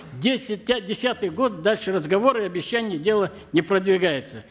десять десятый год дальше разговора и обещаний дело не продвигается